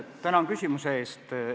Tänan küsimuse eest!